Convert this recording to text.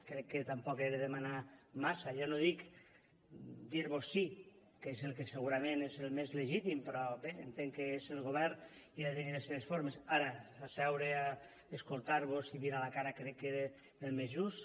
crec que tampoc era demanar massa ja no dic dir vos sí que és el que segurament és el més legítim però bé entenc que és el govern i ha de tenir les seves formes ara seure a escoltar vos i mirar a la cara crec que era el més just